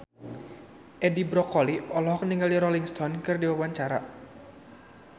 Edi Brokoli olohok ningali Rolling Stone keur diwawancara